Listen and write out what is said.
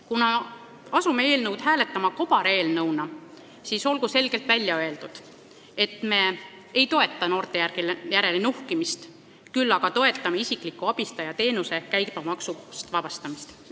Kuna me hakkame nüüd hääletama kobareelnõu, siis olgu selgelt välja öeldud: me ei toeta noorte järele nuhkimist, küll aga toetame isikliku abistaja teenuse käibemaksust vabastamist.